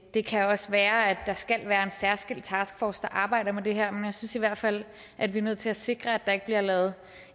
det kan også være at der skal være en særskilt taskforce der arbejder med det her men jeg synes i hvert fald at vi er nødt til at sikre at der ikke bliver lavet